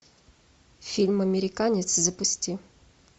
фильм американец запусти